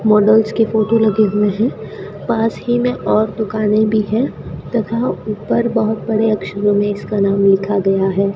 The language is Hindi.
मॉडल्स के फोटो लगे हुए हैं पास ही में और दुकान भी है तथा ऊपर बहोत बड़े अक्षरों में इसका नाम लिखा गया है।